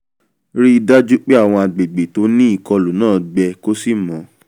ríi dájú pé àwọn àgbègbè tó ní ìkọlù náà gbẹ kó sì mọ́